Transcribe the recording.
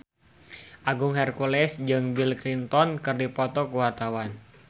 Agung Hercules jeung Bill Clinton keur dipoto ku wartawan